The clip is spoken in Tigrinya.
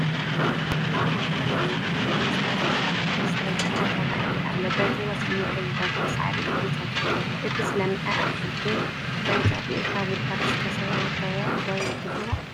ኣብ ማእኸል ልሙዕን ብመስመር ዝተዘርአ ዝራእቲ ኣሎ፡፡ በቲ ወሰኑ ግን ዝደረቐ ሳዕሪ እዩ ዘሎ፡፡ እቲ ዝለምዐ ኣትክልቲ ወይ ዘርኢ ካብ ጉድጓድ ዝሰተየ ዶ ትብልዎ?